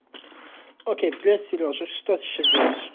окей привет серёжа что ты сейчас делаешь